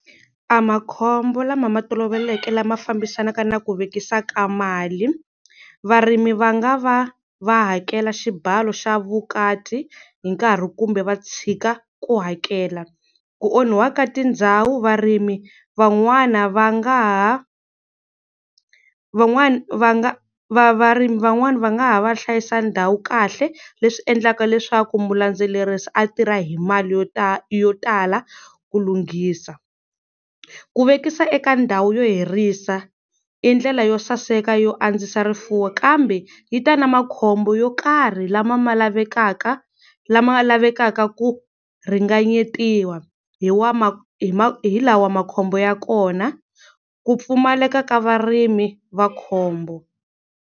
A makhombo lama ma toloveleke lama fambisanaka na ku vekisa mali, varimi va nga va va hakela xibalo xa vukati hi nkarhi kumbe va tshika ku hakela, ku onhiwa ka tindhawu varimi van'wana va nga ha van'wana va nga varimi van'wana va nga ha va hlayisa ndhawu kahle leswi endlaka leswaku mulandzelerisi a tirha hi mali yo yo tala ku lunghisa. Ku vekisa eka ndhawu yo hirisa i ndlela yo saseka yo andzisa rifuwo kambe yi ta na makhombo yo karhi lama ma lavekaka lama lavekaka ku ringananyetiwa hi wa ma hi hi lawa makhombo ya kona, ku pfumaleka ka varimi va khombo.